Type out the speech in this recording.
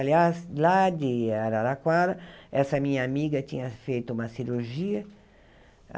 Aliás, lá de Araraquara, essa minha amiga tinha feito uma cirurgia.